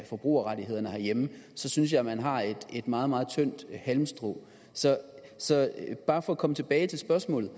forbrugerrettighederne herhjemme synes jeg at man har et meget meget tyndt halmstrå så bare for at komme tilbage til spørgsmålet